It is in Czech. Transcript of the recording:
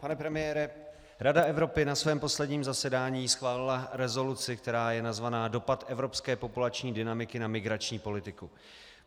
Pane premiére, Rada Evropy na svém posledním zasedání schválila rezoluci, která je nazvaná Dopad evropské populační dynamiky na migrační politiku.